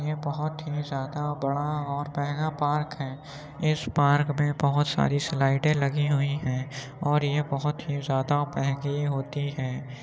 ये बहोत ही ज्यादा बड़ा और महंगा पार्क है। इस पार्क में बहोत सारी स्लाईडें लगी हुई हैं और ये बहोत ही ज्यादा महंगी होती हैं।